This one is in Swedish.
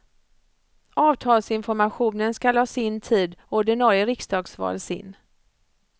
Avtalsinformationen skall ha sin tid och ordinarie riksdagsval sin.